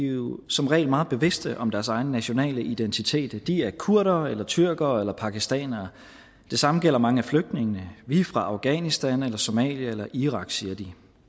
jo som regel meget bevidste om deres egen nationale identitet de er kurdere eller tyrkere eller pakistanere det samme gælder mange af flygtningene vi er fra afghanistan eller somalia eller irak siger de